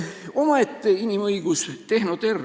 Omaette inimõigus – tehnoterror.